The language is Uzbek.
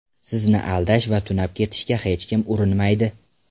Sizni aldash va tunab ketishga hech kim urinmaydi.